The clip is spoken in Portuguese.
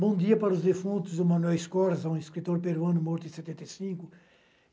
Bom dia para os defuntos, do Manuel Scorza, um escritor peruano morto em setenta e cinco.